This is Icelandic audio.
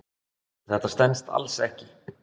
Þetta stenst alls ekki.